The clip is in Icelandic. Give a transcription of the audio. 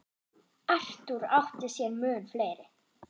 Arthur átti sér mun fleiri.